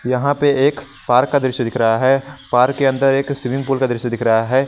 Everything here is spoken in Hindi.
यहां पे एक पार्क का दृश्य दिख रहा हैं पार्क के अन्दर एक स्विमिंग पूल का दृश्य दिख रहा हैं।